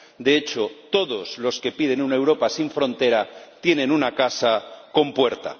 de hecho, todos los que piden una Europa sin frontera tienen una casa con puerta.